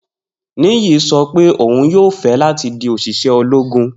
Niyi sọ pe oun yoo fẹ lati di oṣiṣẹ ologun.